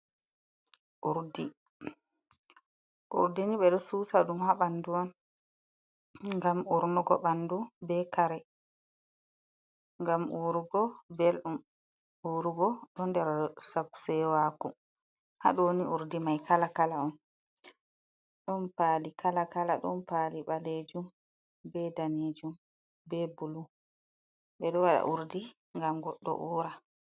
Urdi, urdi ni ɓe ɗo susa ɗum ha ɓanɗu on ngam urnugo ɓanɗu, be kare, ngam urugo belɗum, urugo ɗo nder sab sewaku, ha ɗo ni urdi mai kala kala on ɗon pali kala kala, ɗon pali ɓalejum be ɗanejum, be bulu. Ɓeɗo waɗa urdi ngam goɗɗo ura.